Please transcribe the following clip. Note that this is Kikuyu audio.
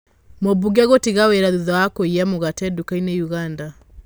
Mũbunge gũtiga wĩra thutha wa kũiya mũgate ndukainĩ ũganda.